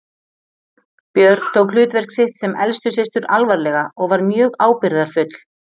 Björg tók hlutverk sitt sem elstu systur alvarlega og var mjög ábyrgðarfull.